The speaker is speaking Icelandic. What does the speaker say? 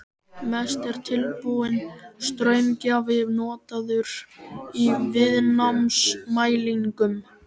Mest er tilbúinn straumgjafi notaður í viðnámsmælingum.